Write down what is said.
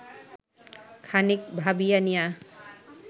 খানিক ভাবিয়া নিয়া